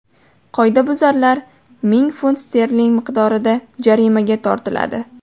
Qoidabuzarlar ming funt sterling miqdorida jarimaga tortiladi.